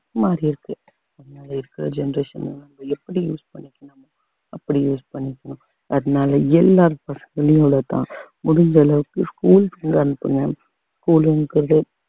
மாறி இருக்கு முன்னாடி இருக்கிற generation மாதிரி எப்படி use பண்ணிக்கனுமோ அப்படி use பண்ணிக்கனும் அதனாலே எல்லாரு இவ்வளோதான் முடிஞ்ச அளவுக்கு schools க்கு வந்து அனுப்புங்க school ங்கிறது